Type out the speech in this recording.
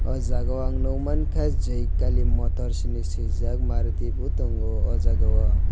o jaga o ang nogmangkha joykali motors hinui suijak maruti bo tango o jaga o.